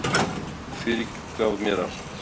Friðrik fyrirgaf mér allt.